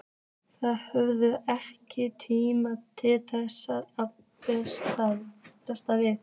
Þið höfðuð ekki mikinn tíma til þess að bregðast við?